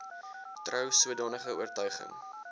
trou sodanige oortuiging